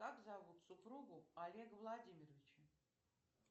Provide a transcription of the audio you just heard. как зовут супругу олега владимировича